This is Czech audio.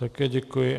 Také děkuji.